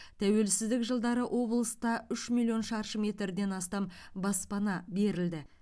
тәуелсіздік жылдары облыста үш миллион шаршы метрден астам баспана берілді